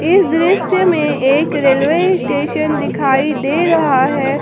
इस दृश्य में एक रेलवे स्टेशन दिखाई दे रहा है।